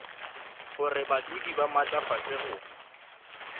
gore badudi ba maatlafatšwe go